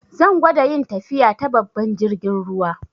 Zan gwada yin tafiya ta babban jirgin ruwa.